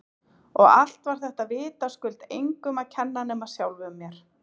Og allt var þetta vitaskuld engum að kenna nema sjálfum mér!